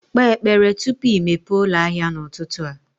Kpee ekpere tupu i mepee ụlọ ahịa n'ụtụtụ a.